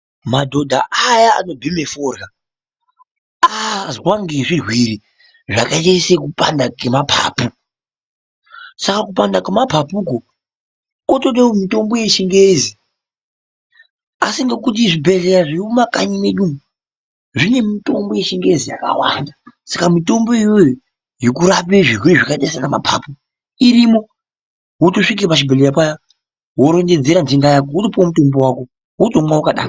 Madhodha ayaa anobhema fodyra, azwa ngezvirwere zvakaita sekupanda kemapapu. Saka kupanda kemapapu uku kwotodawo mitombo yechingezi. Asi ngekuti zvibhedhleya zviri mumakanyi mwedu umu zvine mitombo yechingezi yakawanda. Saka mitombo iyoyo yekurapa zvirwere zvakaita seanamapapu irimo. Wotosvika pachibhendhleya payaa worondedzera nhenda yako wotopuwa mutombo wako wotomwa wakadaro.